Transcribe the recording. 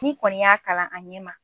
Ni kɔni y'a kalan an ɲɛma